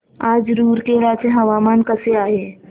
आज रूरकेला चे हवामान कसे आहे